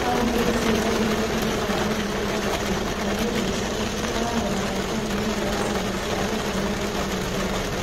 Famĩlĩ icio nĩ iria ithiaga kũrĩithia mahiũ, na nĩ ũndũ ũcio ikoragwo na mweke mũnini wa ciana ciao gũthiĩ na mbere na gĩthomo.